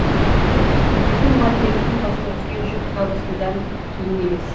біздің мұғалімдеріміздің басына түскен жүк тап осыдан кейін емес